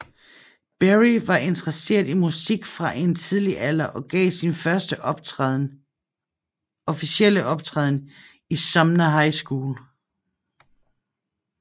Berry var interesseret i musik fra en tidlig alder og gav sin første offentlige optræden i Sumner High School